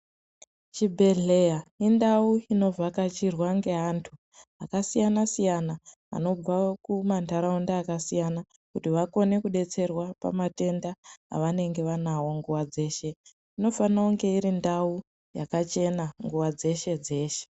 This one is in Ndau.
Chibhehleya indau inovhakachirwa ngevantu vakasiyana siyana vanobva kumandaraunda akasiyana kuti vakone kudetserwa pamatenda avanenge vanawo nguwa dzeshe inofana kunge iri ndau yakachena nguwa dzeshe dzeshe.